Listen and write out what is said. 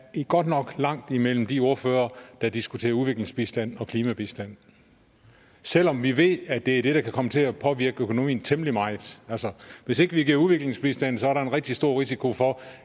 godt nok er langt mellem de ordførere der diskuterer udviklingsbistand og klimabistand selv om vi ved at det er det der kan komme til at påvirke økonomien temmelig meget altså hvis ikke vi giver udviklingsbistand er der en rigtig stor risiko for